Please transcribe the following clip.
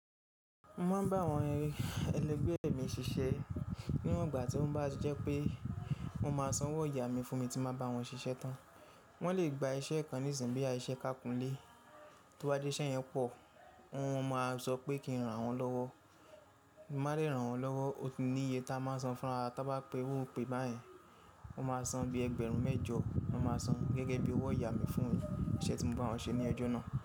Mo máa ń bá àwọn ẹlẹgbẹ́ mi ṣiṣẹ́ ní iwọn gbà, tí ó bá jẹ́ pé wọ́n ma san owó oyà mí fún mi, tí n bá wọn ṣiṣẹ́ tán. Wọ́n lè gba iṣẹ́ kan níìsín bí i iṣẹ́ kákúnlé, tí ó bá jé iṣẹ́ yẹn pọ̀, wọn máa sọ pé kí n ran wọn lọ́wọ́. Mọ má lè ràn wọ́n lọ́wọ́, o ti ní iye tá a máa san fún wa, tá bá pe iru ipé báyìí, wọ́n máa san bí ẹgbẹ̀rún mẹ́jọ ni wọ́n máa san, gẹ́gẹ́ bí owó oyà mi fún iṣẹ́ tí mo bá wọn ṣe ní ọjọ́ náà.